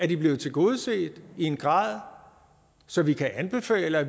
de er blevet tilgodeset i en grad så vi kan anbefale at